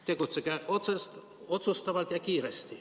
Tegutsege otsustavalt ja kiiresti ...